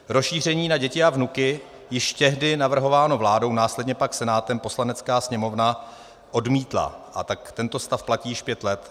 Rozšíření na děti a vnuky, již tehdy navrhované vládou, následně pak Senátem, Poslanecká sněmovna odmítla, a tak tento stav platí již pět let.